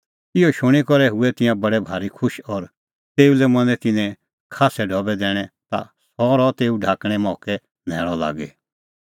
इहअ शूणीं करै हुऐ तिंयां बडै भारी खुश और तेऊ लै मनैं तिन्नैं खास्सै ढबै दैणैं ता सह रहअ तेऊ ढाकणें मोक्कै न्हैल़अ लागी